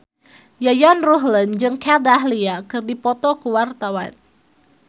Yayan Ruhlan jeung Kat Dahlia keur dipoto ku wartawan